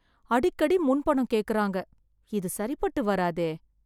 அடிக்கடி முன் பணம் கேக்கறாங்க. இது சரிப்பட்டு வராதே.